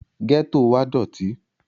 gẹ́tò wa dọ̀tí